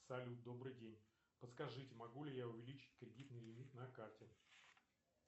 салют добрый день подскажите могу ли я увеличить кредитный лимит на карте